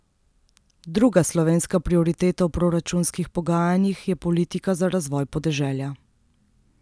Druga slovenska prioriteta v proračunskih pogajanjih je politika za razvoj podeželja.